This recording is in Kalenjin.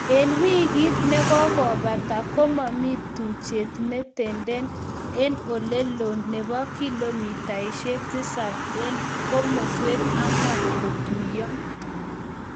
En wigit ne kogobata, kogomii tuchet ne tenden en ole loo nebo kilomitaisiek tisap en komoswek ang'wan kotuiyo